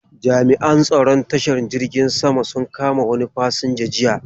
Jami'an tsaron tashar jirgin saman sun kama wani fasinja jiya.